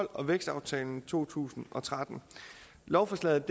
og af vækstaftalen fra to tusind og tretten lovforslaget